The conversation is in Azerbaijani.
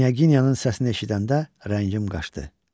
Knyaginya'nın səsini eşidəndə rəngim qaçdı.